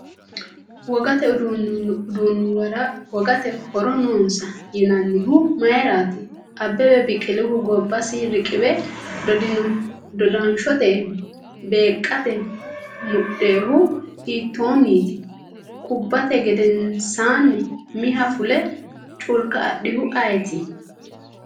Wogate uduunnuwara wogate horo noonsa yinannihu mayiraati? Abbebe Biqilihu gobbasi riqiwe dodanshote beeqqate mudhinohu hiittoonniiti? kubbate gedensanni umiha fule culka adhihu ayeti?